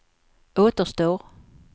återstår